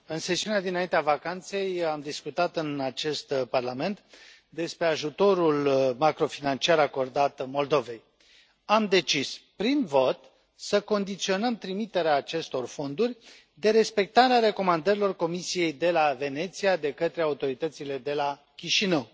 Domnule președinte, în sesiunea dinaintea vacanței am discutat în acest Parlament despre ajutorul macrofinanciar acordat Moldovei. Am decis prin vot să condiționăm trimiterea acestor fonduri de respectarea recomandărilor Comisiei de la Veneția de către autoritățile de la Chișinău.